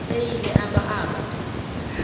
eyile abba abba